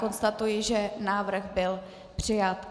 Konstatuji, že návrh byl přijat.